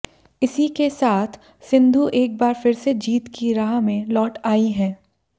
इसी के साथ सिंधु एक बार फिर से जीत की राह में लौट आईं हैं